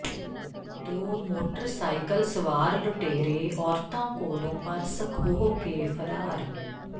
ਦੋ ਮੋਟਰਸਾਈਕਲ ਸਵਾਰ ਲੁਟੇਰੇ ਔਰਤਾਂ ਕੋਲੋਂ ਪਰਸ ਖੋਹ ਕੇ ਫ਼ਰਾਰ